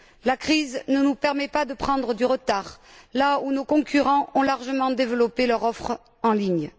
La crise ne nous permet pas de prendre du retard là où nos concurrents ont largement développé leur offre en ligne.